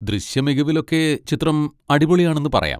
ദൃശ്യമികവിലൊക്കെ ചിത്രം അടിപൊളിയാണെന്ന് പറയാം.